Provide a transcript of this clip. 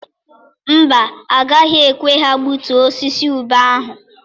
Mba, agaghị ekwe ha gbutuo osisi ube ahụ.